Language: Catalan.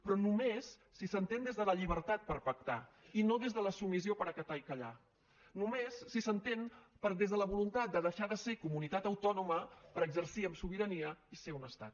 però només si s’entén des de la llibertat per pactar i no des de la submissió per acatar i callar només si s’entén des de la voluntat de deixar de ser comunitat autònoma per exercir amb sobirania i ser un estat